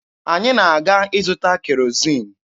Anyị na-aga ịzụta kerozin.